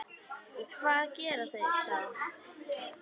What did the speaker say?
Og hvað gera þeir þá?